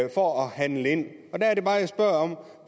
handle ind